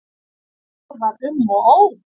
Mér var um og ó.